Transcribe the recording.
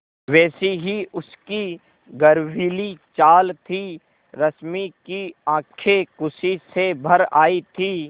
वैसी ही उसकी गर्वीली चाल थी रश्मि की आँखें खुशी से भर आई थीं